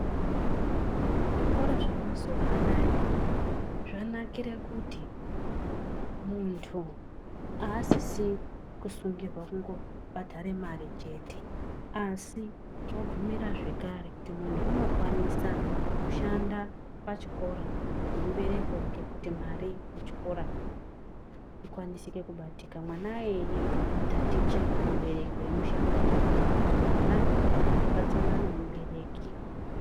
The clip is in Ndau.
Zvikora zvamazuva anaya zvanakire kuti muntu haasisi kusungurirwa kungobhadhare mari chete. Asi zvobvumira zvekare kuti muntu unokwanisa kushanda pachikora nemubereki wake kuti mari yechikora ikwanisike kubatika mwana iyi taticha mubereki wemushandira kana kuti mwana weibatana nemubereki.